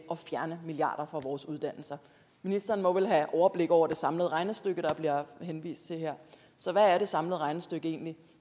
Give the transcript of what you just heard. at fjerne milliarder fra vores uddannelser ministeren må vel have overblik over det samlede regnestykke der bliver henvist til her så hvad er det samlede regnestykke egentlig